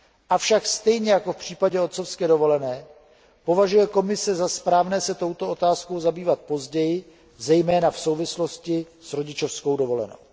Avšak stejně jako v případě otcovské dovolené považuje Komise za správné se touto otázkou zabývat později, zejména v souvislosti s rodičovskou dovolenou.